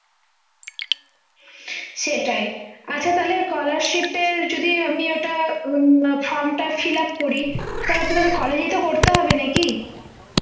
সেটাই আচ্ছা তাহলে scholarship এর যদি আমি ওটা from টা fill up করি তারপরে college ও তো করতে হবে নাকি